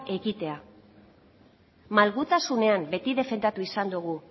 ekitea malgutasunean beti defendatu izan dugu